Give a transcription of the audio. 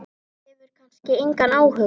Hefur kannski engan áhuga.